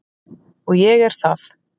Og ég er það.